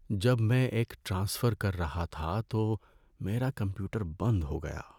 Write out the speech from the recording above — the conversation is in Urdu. جب میں ایک ٹرانسفر کر رہا تھا تو میرا کمپیوٹر بند ہو گیا۔